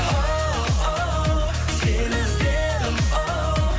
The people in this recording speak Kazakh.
оу сені іздедім оу